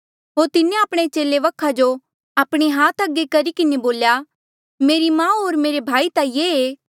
होर तिन्हें आपणे चेले वखा जो आपणे हाथ करी किन्हें बोल्या मेरी माऊ होर मेरे भाई ता यों ऐें